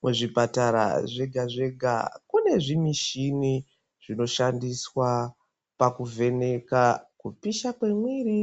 Kuzvipatara zvega zvega kune zvimishini zvinoshandiswa pakuvheneka kupisha kwemwiri